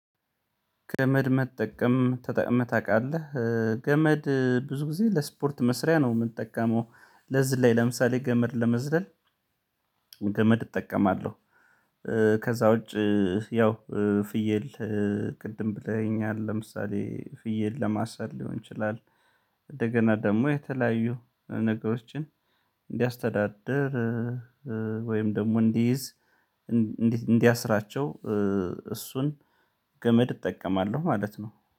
ገመድ መጠቀም ተጠቅመህ ታውቃለህ? ገመድ ብዙ ጊዜ ለስፖርት መስሪያ ነው የምንጠቀመው ለዚህ ላይ ለምሳሌ ገመድ ለመዝለል ገመድ እጠቀማለሁ። ከዛ ውጪ ያው ፍየል ቅድም ብለኸኛል ለምሳሌ ፍየል ለማሳደድ ሊሆን ይችላል። እንደገና ደግሞ የተለያዩ ነገሮችን እንዲያስተዳድር ወይም ደግሞ እንዲይዝ እንዲያስራቸው እሱን ገመድ እጠቀማለሁ ማለት ነው